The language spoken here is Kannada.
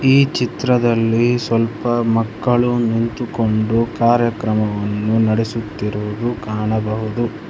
ಈ ಚಿತ್ರದಲ್ಲಿ ಸ್ವಲ್ಪ ಮಕ್ಕಳು ನಿಂತುಕೊಂಡು ಕಾರ್ಯಕ್ರಮವನ್ನು ನಡೆಸುತ್ತಿರುವುದು ಕಾಣಬಹುದು.